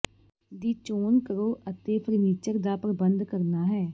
ਦੀ ਚੋਣ ਕਰੋ ਅਤੇ ਫਰਨੀਚਰ ਦਾ ਪ੍ਰਬੰਧ ਕਰਨਾ ਹੈ